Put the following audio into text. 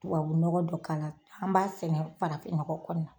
Tubabu ɲɔgɔ dɔ k'ala an b'a sɛnɛ farafin nɔgɔ kɔnɔ